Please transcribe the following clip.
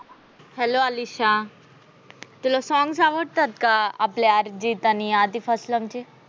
hello Alisha, तुला songs आवडतात का आपल्या अर्जित आणि आतीफ फसलम चे